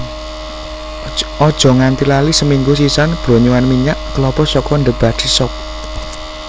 ojo nganti lali seminggu sisan blonyohan minyak kelapa saka The Body Shop